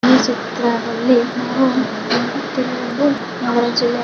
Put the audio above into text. ಈ ಚಿತ್ರದಲ್ಲಿ ನಾವು ನೋಡುತ್ತಿರುವುದು ನವರ ಜಿಲ್ಲೆ.